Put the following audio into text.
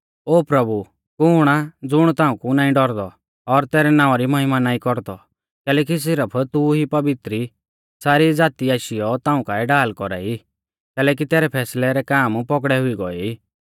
ओ प्रभु कुण आ ज़ुण तांउकु नाईं डौरदौ और तैरै नावां री महिमा नाईं कौरदौ कैलैकि सिरफ तू ई पवित्र ई सारी ज़ाती आशीयौ ताऊं काऐ ढाल कौरा ई कैलैकि तैरै फैसलै रै काम पौगड़ै हुई गौऐ ई